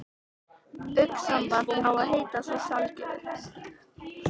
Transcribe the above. Augnsamband á að heita svo sjálfgefið.